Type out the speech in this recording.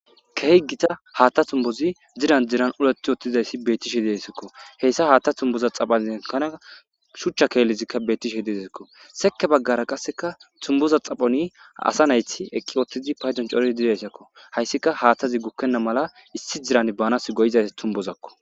kehi gita haatta tumbozi ziran ziran uleti uttizayssi bettishe desakko heyssa haatta tumboza xaphanekana shuchcha keellizikka bettishe dezikko seke baggara qasseka tumboza xaphani asa nayti eqqi oottizi payzon cori didayssakko hayssika haattazi gukkenna mala issi diran baanas goyizaysi tumbozakko